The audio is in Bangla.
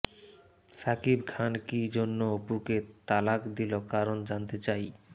শাকিব খান কি জন্য অপুকে তালাক দিল কারন জানতে চাই